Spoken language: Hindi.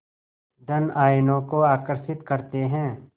धन आयनों को आकर्षित करते हैं